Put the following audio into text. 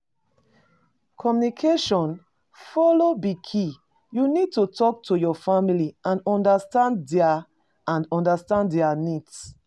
Communication follow be key, you need to talk to your family and understand dia and understand dia needs.